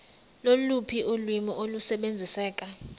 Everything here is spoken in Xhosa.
loluphi ulwimi olusebenziseka